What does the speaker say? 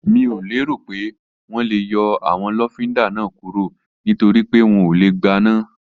Mi ò lérò pé wọ́n lè yọ àwọn lọ́fíndà náà kúrò nítorípé wọn ò lè gbaná